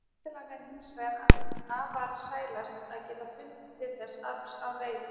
Væntanlega væri hins vegar affarasælast að geta fundið til þess afls án reiði.